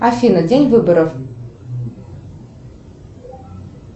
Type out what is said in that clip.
афина день выборов